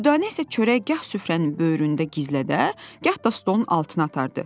Dürdanə isə çörək gah süfrənin böyründə gizlədər, gah da stolun altına atardı.